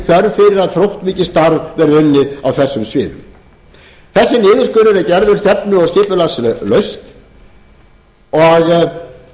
þörf fyrir að þróttmikið starf verði unnið á þessum sviðum þessi niðurskurður er gerður stefnu og skipulagslaust og án þess að